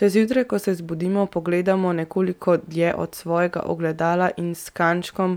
Če zjutraj, ko se zbudimo, pogledamo nekoliko dlje od svojega ogledala in s kančkom